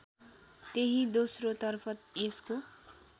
त्यही दोस्रोतर्फ यसको